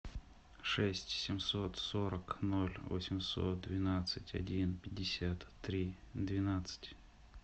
шесть семьсот сорок ноль восемьсот двенадцать один пятьдесят три двенадцать